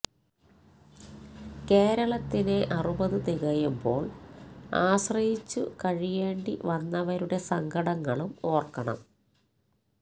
കേരളത്തിന് അറുപതു തികയുമ്പോള് ആശ്രയിച്ചു കഴിയേണ്ടി വരുന്നവരുടെ സങ്കടങ്ങളും ഓര്ക്കണം